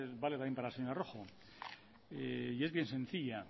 vale también para la señora rojo y es bien sencilla